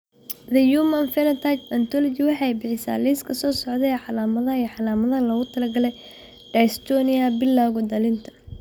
Human Phenotype Ontology waxay bixisaa liiska soo socda ee calaamadaha iyo calaamadaha loogu talagalay dystonia bilawga dhallinta.